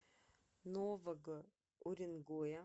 нового уренгоя